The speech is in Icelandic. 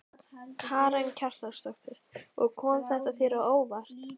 Karen Kjartansdóttir: Og kom þetta þér á óvart?